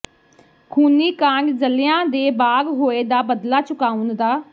ਖੂਨੀ ਕਾਂਡ ਜੱਲਿਆਂ ਦੇ ਬਾਗ਼ ਹੋਏ ਦਾ ਬਦਲਾ ਚੁਕਾਉਣ ਦਾ